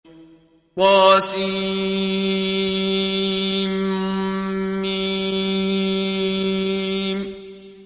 طسم